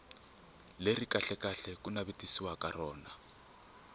leri kahlekahle ku navetisiwaka rona